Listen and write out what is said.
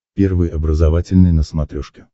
первый образовательный на смотрешке